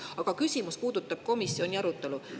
Aga küsimus puudutab komisjoni arutelu.